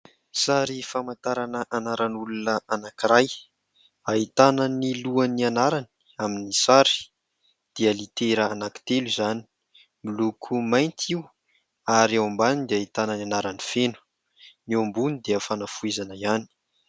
Sary famantarana anaran'olona anankiray. Ahitana ny lohan'ny anarany amin'ny sary, dia litera anankitelo izany, miloko mainty io. Ary ao ambany dia ahitana ny anarany feno, ny ao ambony dia fanafoezana hiany.